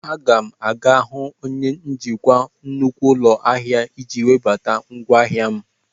A ga m aga hụ onye njikwa nnukwu ụlọ ahịa iji webata ngwaahịa m.